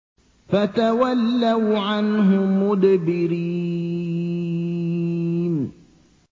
فَتَوَلَّوْا عَنْهُ مُدْبِرِينَ